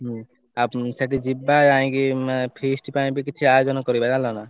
ସେଠି ଯିବା ଯାଇଁ କି feast ପାଇଁ ବି କିଛି ଆୟୋଜନ କରିବା ଜାଣିଲ ନା।